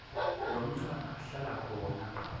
lomntfwana ahlala khona